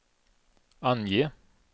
ange